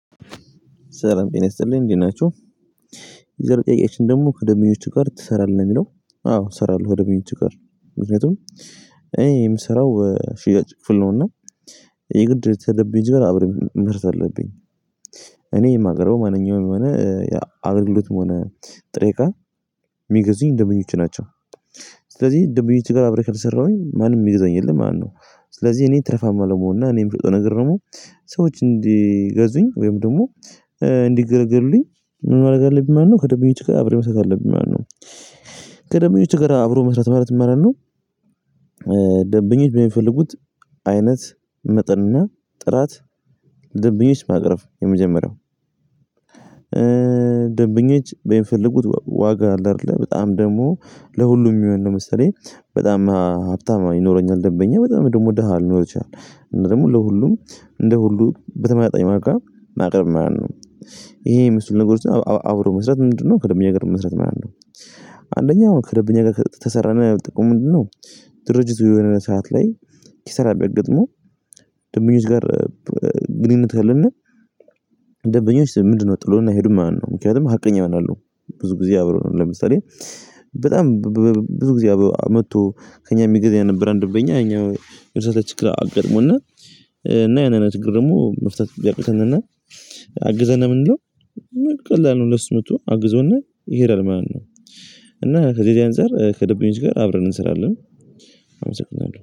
ሰላም ጤና ይስጥልኝ እንዴት ናችሁ? የዛሬ ጥያቄያችን ደግሞ ከደንበኞቹ ጋር ትሰራለህ የሚለው? አዎ እሰራለሁ ከደንበኞቹ ጋር ምክንያቱም እኔ የምሰራው ሽያጭ ክፍል ነውና የግድ ከደንበኞች ጋር አብረን አለብኝ። እኔ የማቀርበው ማንኛውም የሆነ አገልግሎትም ሆነ ጥሬ ቃል የሚገዙኝ ደመኞች ናቸው። ስለዚህ ደንበኞች ጋር ከስራሁኝ ማንም የሚይዘኝ የለም ማለት ነው። ስለዚህ እኔ ትርፋማ ለመሆን እና እኔም የምሰጠው ነገር ደግሞ ሰዎች እንዲገዙኝ ወይም ደግሞ እንዲገለገሉልኝ ምን ማድረግ አለብኝ ማለት ነው? ከደንበኞች ጋር አብረን መስራት አለብኝ ማለት ነው። ከደንበኞች ጋር አብሮ መስራት ማለት ምን ማለት ነው? ደንበኞች በሚፈልጉት አይነት መጠንና ጥራት ደንብኞች ማቅረብ የመጀመሪያው ደንብኞች በሚፈልጉት ዋጋ አለ አይደለ? በጣም ደግሞ ለሁሉም የሚሆን ነው መሰለኝ በጣም ሀብታም ይኖረኛል ደንበኛ፣ በጣም ደግሞ ደሃ ሊኖር ይችላል። እንደውም ለሁሉም እንደ ሁሉ በተመጠጠኝ ዋጋ ማቅረብ ማለት ነው። ይሄ የምመስለው ነገሮችን አብሮ መስራት ምንድነው? ከደብኛ ጋር መስራት ማለት ነው አንደኛው ያው ከደብኛ ጋር ከሰራነው ያው ጥቅሙ ምንድነው? ድርጅቱ የሆነ ሰዓት ላይ ኪሳራ ብያጋጥመው ደንበኞች ጋር ግንኙነት ካለን ደንበኞች ምንድነው ጥሎን አይሄዱም ማለት ነው፣ ምክንያቱም ሀቀኛ ይሆናሉ፣ ብዙ ጊዜ አብረውን ነው ለምሳሌ በጣም ብዙ ጊዜ መጥቶ ከእኛ የሚገዛ የነበረ አንድ በእኛ እኛ የሆነ ሰዓት ላይ ችግር አጋጥሞንና እና ያንን ችግር ደግሞ መፍታት ብያቅተንና አግዘን ብንለው ቀላል ነው፣ ለእሱ መጥቶ አግዞን ይሄዳል ማለት ነው። እና ከዚህ ከዚህ አንፃር ከደብረኞች ጋር አብረን እንሰራለን። አመሰግናለሁ።